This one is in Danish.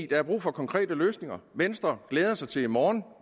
der er brug for konkrete løsninger venstre glæder sig til i morgen